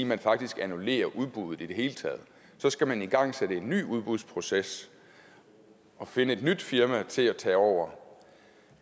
man faktisk annullerer udbuddet i det hele taget så skal man igangsætte en ny udbudsproces og finde et nyt firma til at tage over